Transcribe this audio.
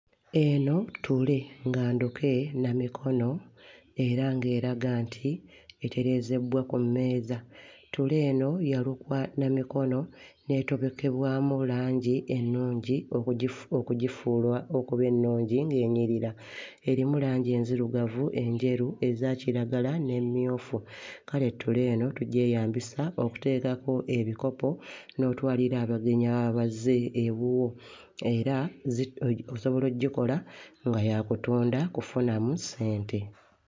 Eno ttule nga nduke na mikono era ng'eraga nti etereezebbwa ku mmeeza, ttule eno yalukwa na mikono n'etobekebwamu langi ennungi okugifu okugifuula okuba ennungi ng'enyirira, erimu langi enzirugavu, enjeru eza kiragala n'emmyufu, kale ttule eno tugyeyambisa okuteekako ebikopo n'otwalira abagenyi ababa bazze ewuwo era zi osobola oggikola nga yakutunda kufunamu ssente.